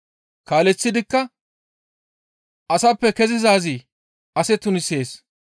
Kaaleththidikka, «Asappe kezizaazi ase tunisees.